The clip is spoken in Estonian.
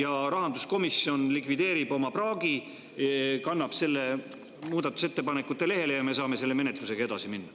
Kui Rahanduskomisjon likvideerib oma praagi, kannab need muudatusettepanekute lehele, siis me saame selle menetlusega edasi minna.